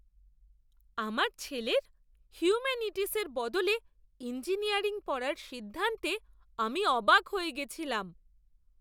আমার ছেলের হিউম্যানিটিসের বদলে ইঞ্জিনিয়ারিং পড়ার সিদ্ধান্তে আমি অবাক হয়ে গেছিলাম।